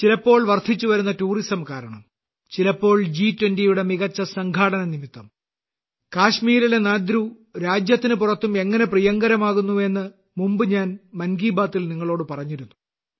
ചിലപ്പോൾ വർദ്ധിച്ചുവരുന്ന ടൂറിസം കാരണം ചിലപ്പോൾ ജി 20 യുടെ മികച്ച സംഘാടനം നിമിത്തം കാശ്മീരിലെ നാദ്രു രാജ്യത്തിന് പുറത്തും എങ്ങനെ പ്രിയങ്കരമാകുന്നു എന്ന് മുമ്പ് ഞാൻ മൻ കി ബാത്തിൽ നിങ്ങളോട് പറഞ്ഞിരുന്നു